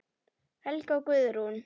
Helga Guðrún.